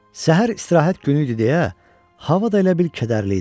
Səhər istirahət günü idi deyə hava da elə bil kədərli idi.